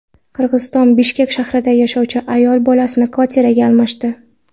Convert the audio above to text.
Qirg‘izistonning Bishkek shahrida yashovchi ayol bolasini kvartiraga almashdi.